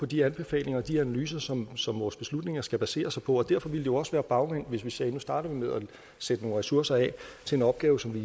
de anbefalinger og de analyser som som vores beslutninger skal basere sig på og derfor ville det jo også være bagvendt hvis vi sagde at nu starter vi med at sætte nogle ressourcer af til en opgave som vi